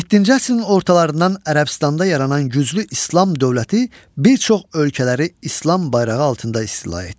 Yeddinci əsrin ortalarından Ərəbistanda yaranan güclü İslam dövləti bir çox ölkələri İslam bayrağı altında istila etdi.